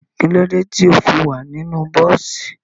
Kílódé tí o fi wà nínú bọ́ọ́sì?